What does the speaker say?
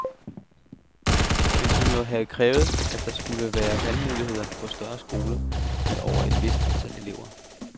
Man kunne jo have krævet, at der skulle være valgmulighed på større skoler med over et vist antal elever.